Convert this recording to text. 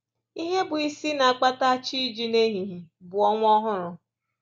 Ihe bụ isi na-akpata chi iji n’ehihie bụ ọnwa ọhụrụ